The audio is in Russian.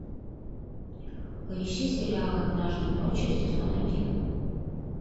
поищи сериал однажды ночью сезон один